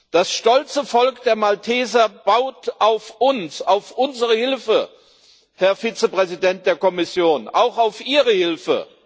Das stolze Volk der Malteser baut auf uns, auf unsere Hilfe und, Herr Vizepräsident der Kommission, auch auf Ihre Hilfe.